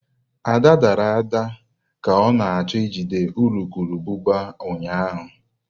Ada dara ka ọ na-achọ ijide urukurubụba ụnyahụ.